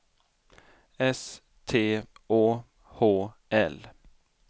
S T Å H L